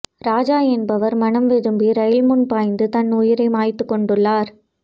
ராஜா என்பவர்மனம் வெதும்பி ரயில் முன் பாய்ந்து தன் உயிரை மாய்த்துக் கொண்டுள்ளார்